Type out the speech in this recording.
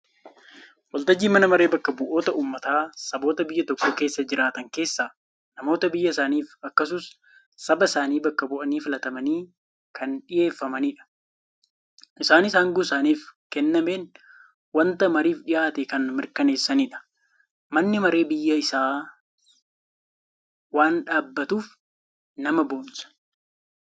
Waltajjiin mana maree bakka bu'oota uummataa saboota biyya tokko keessa jiraatan keessa namoota biyya isaaniif akkasus saba isaanii bakka bu'anii filatamanii kan dhiheeffamanidha. Isaanis angoo isaaniif keennameen wanta mariif dhihaate kan mirkaneessanidha. manni maree biyya isaaf waan dhaabbatuuf nama boonsa.